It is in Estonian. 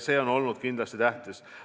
See on olnud kindlasti tähtis.